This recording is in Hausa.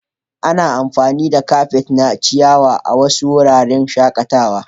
Ana amfani da kafet na ciyawa a wasu wuraren shakatawa.